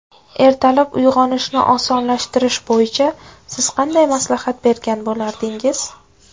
Ertalab uyg‘onishni osonlashtirish bo‘yicha siz qanday maslahat bergan bo‘lardingiz?